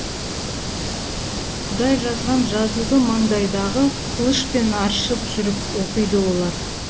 құдай жазған жазуды маңдайдағы қылышпен аршып жүріп оқиды олар